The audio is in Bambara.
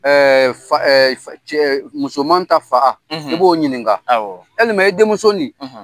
Fa cɛ musoman ta fa i b'o ɲininka yɛlima i denmuso nin